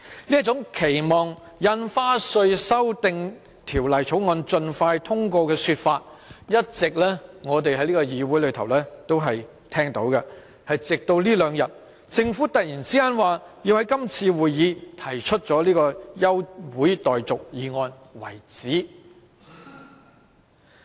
這種期望《條例草案》盡快通過的說法，我們一直在這議會內聽到，直至這兩天，政府突然說要在今次會議提出休會待續議案。